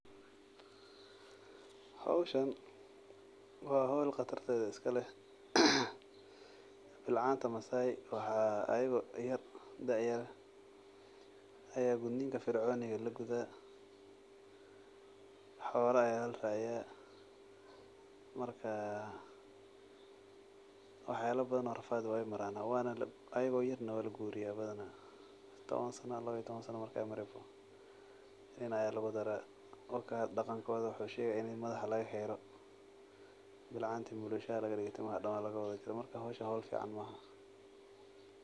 Howshan wa howl qatartedha iskaleh, bilcanta masay waxaa adao da'a yar ayaa gudninka firconiga lagudah, xola ayaa laraciyaah markaa waxyala badhan oo rafad eh way maranaa, ayago yar na walaguriyaah badanaa, toban sanno lawa iyo toban saanno markay garan nin ayaa lagudaraah, daqankoda wuxuu shegahay ini madaxa lagaxiro bilcanta mulushaa lagawada digo madaxa dan lagaxiro . Marka howshan howl fican maaha.